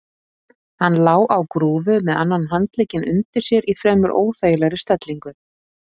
Hann lá á grúfu með annan handlegginn undir sér í fremur óþægilegri stellingu.